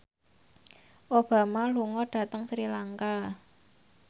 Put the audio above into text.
Obama lunga dhateng Sri Lanka